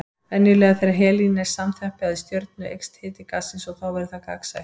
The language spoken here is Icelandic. Venjulega þegar helín er samþjappað í stjörnu eykst hiti gassins og þá verður það gagnsætt.